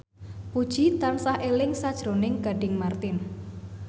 Puji tansah eling sakjroning Gading Marten